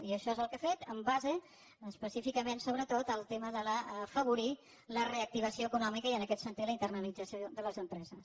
i això és el que ha fet en base específicament sobretot al tema d’afavorir la reactivació econòmica i en aquest sentit la internacionalització de les empreses